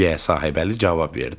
Deyə Sahibəli cavab verdi.